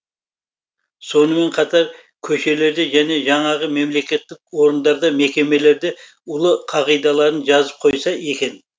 сонымен қатар көшелерде және жаңағы мемлекеттік орындарда мекемелерде ұлы қағидаларын жазып қойса екен